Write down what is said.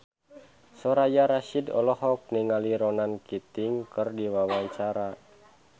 Soraya Rasyid olohok ningali Ronan Keating keur diwawancara